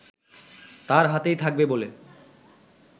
তার হাতেই থাকবে বলে